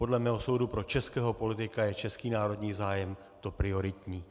Podle mého soudu pro českého politika je český národní zájem to prioritní.